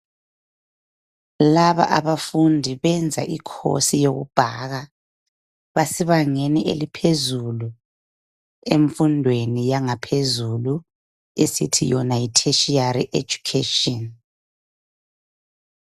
Laba abafundi benza i course yoku baker. Basebangeni eliphezulu emfundweni yangaphezulu esithi yona Yi tertiary education